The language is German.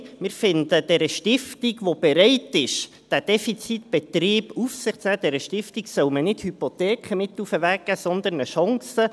Nein, wir finden, dieser Stiftung, die bereit ist, diesen defizitären Betrieb auf sich zu nehmen, solle man nicht Hypotheken mit auf den Weg geben, sondern eine Chance.